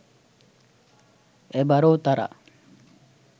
এবারও তারা